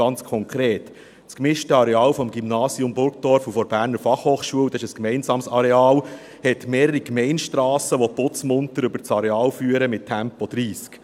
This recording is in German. Ganz konkret: Das gemischte Areal des Gymnasiums Burgdorf und der Berner Fachhochschule – dies ist ein gemeinsames Areal – hat mehrere Gemeindestrassen, die putzmunter über das Areal führen, mit Tempo 30.